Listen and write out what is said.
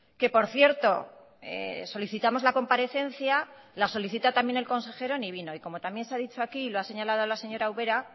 que por cierto solicitamos la comparecencia la solicita también el consejero ni vino y como también se ha dicho aquí lo ha señalado la señora ubera